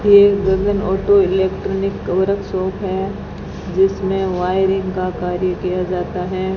ये एक auto electronic shop है जिसमें वायरिंग का कार्य किया जाता है।